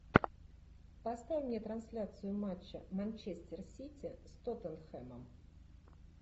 поставь мне трансляцию матча манчестер сити с тоттенхэмом